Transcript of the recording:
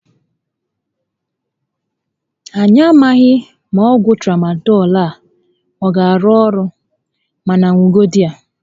Anyị a maghị ma ọgwụ Tramadọl a a gá arụ orụ, mànà ṅugodu ya